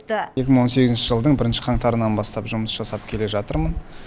екі мың он сегізінші жылдың бірінші қаңтарынан бастап жұмыс жасап келе жатырмын